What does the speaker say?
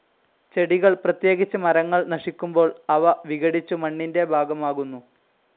ചെടികൾ, പ്രത്യേകിച്ച് മരങ്ങൾ നശിക്കുമ്പോൾ, അവ വിഘടിച്ചു മണ്ണിൻ്റെ ഭാഗമാകുന്നു.